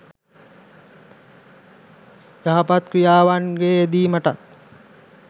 යහපත් ක්‍රියාවන්ගේ යෙදීමටත්